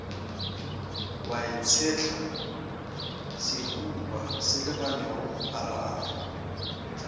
wa itshetla sehuba selebaneng gararo